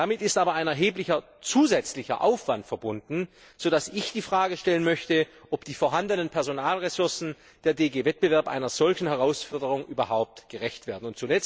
Damit ist aber ein erheblicher zusätzlicher Aufwand verbunden, sodass ich die Frage stellen möchte, ob die vorhandenen Personalressourcen der GD Wettbewerb einer solchen Herausforderung überhaupt gerecht werden.